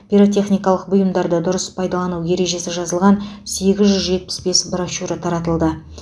пиротехникалық бұйымдарды дұрыс пайдалану ережесі жазылған сегіз жүз жетпіс бес брошюра таратылды